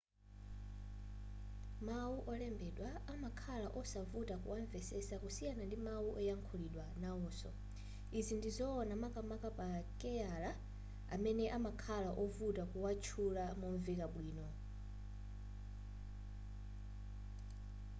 mawu olembedwa amakhala osavuta kuwamvetsetsa kusiyana ndi mawu oyankhulidwa nawonso izi ndizowona makamaka pama keyala amene amakhala ovuta kuwatchula momveka bwino